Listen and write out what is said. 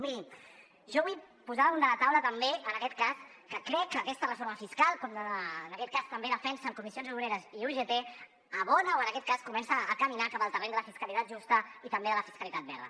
miri jo vull posar damunt de la taula també en aquest cas que crec que aquesta reforma fiscal com també defensen comissions obreres i ugt abona o en aquest cas comença a caminar cap al terreny de la fiscalitat justa i també de la fiscalitat verda